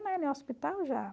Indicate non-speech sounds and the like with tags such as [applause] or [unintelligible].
[unintelligible] hospital já.